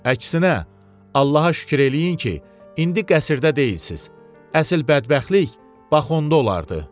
Əksinə, Allaha şükür eləyin ki, indi qəsrdə deyilsiz, əsl bədbəxtlik bax onda olardı.